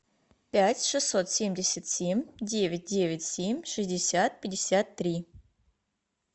пять шестьсот семьдесят семь девять девять семь шестьдесят пятьдесят три